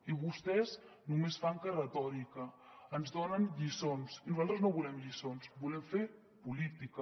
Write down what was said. i vostès només fan que retòrica ens donen lliçons i nosaltres no volem lliçons volem fer política